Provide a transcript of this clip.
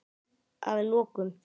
Að lokum